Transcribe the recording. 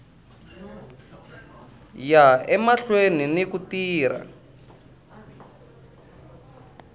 ya emahlweni ni ku tirha